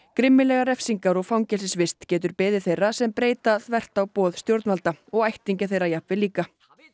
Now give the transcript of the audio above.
grimmilegar refsingar og fangelsisvist getur beðið þeirra sem breyta þvert á boð stjórnvalda og ættingja þeirra jafnvel líka